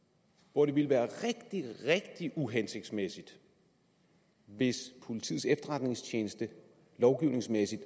hvor det ville være rigtig rigtig uhensigtsmæssigt hvis politiets efterretningstjeneste lovgivningsmæssigt